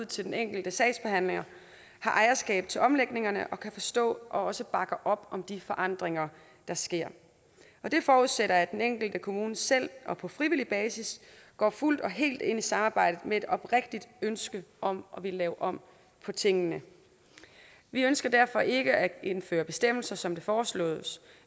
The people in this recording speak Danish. til den enkelte sagsbehandler har ejerskab til omlægningerne og kan forstå og bakker op om de forandringer der sker det forudsætter at den enkelte kommune selv og på frivillig basis går fuldt og helt ind i samarbejdet med et oprigtigt ønske om lave om på tingene vi ønsker derfor ikke at indføre bestemmelser som det foreslås